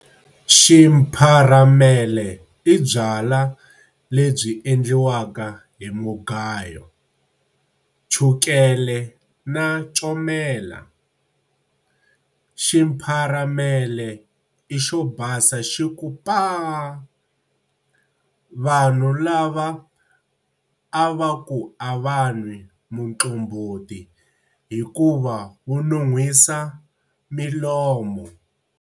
Ximpharamele i byalwa lebyi endliwaka hi mugayo, chukele na comela. Ximpharamele i xo basa xi ku paa! Vanhu lava a va ku a va nwi muqombhoti hikuva wu nunhwisa milomo.